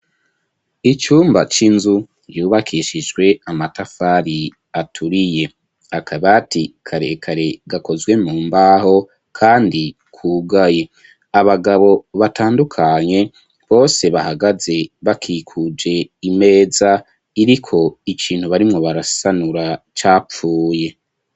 Icumba c'inzu yubakishijwe amatafari aturiye akabati karekare gakozwe mu mbaho kandi kugaye abagabo batandukanye bose bahagaze bakikuje imeza iriko ikintu barimwo barasanura capfuye.